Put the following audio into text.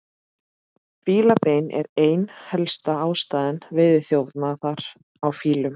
Fílabein er ein helsta ástæða veiðiþjófnaðar á fílum.